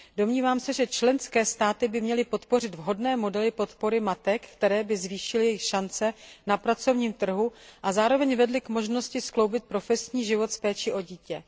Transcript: Domnívám se, že členské státy by měly podpořit vhodné modely podpory matek, které by zvýšily jejich šance na pracovním trhu a zároveň vedly k možnosti skloubit profesní život s péčí o dítě.